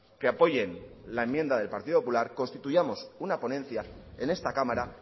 que apoyen la enmienda del partido popular constituyamos una ponencia en esta cámara